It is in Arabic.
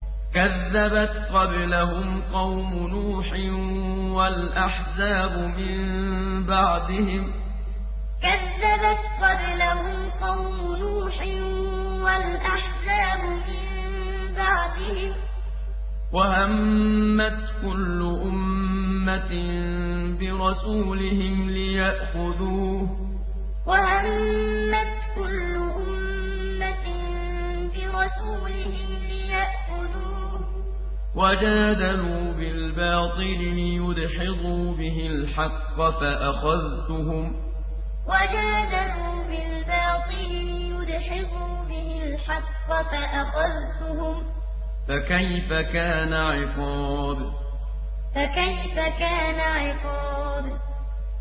كَذَّبَتْ قَبْلَهُمْ قَوْمُ نُوحٍ وَالْأَحْزَابُ مِن بَعْدِهِمْ ۖ وَهَمَّتْ كُلُّ أُمَّةٍ بِرَسُولِهِمْ لِيَأْخُذُوهُ ۖ وَجَادَلُوا بِالْبَاطِلِ لِيُدْحِضُوا بِهِ الْحَقَّ فَأَخَذْتُهُمْ ۖ فَكَيْفَ كَانَ عِقَابِ كَذَّبَتْ قَبْلَهُمْ قَوْمُ نُوحٍ وَالْأَحْزَابُ مِن بَعْدِهِمْ ۖ وَهَمَّتْ كُلُّ أُمَّةٍ بِرَسُولِهِمْ لِيَأْخُذُوهُ ۖ وَجَادَلُوا بِالْبَاطِلِ لِيُدْحِضُوا بِهِ الْحَقَّ فَأَخَذْتُهُمْ ۖ فَكَيْفَ كَانَ عِقَابِ